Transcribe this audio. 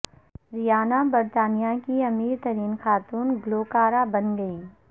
ریانا برطانیہ کی امیر ترین خاتون گلوکارہ بن گئیں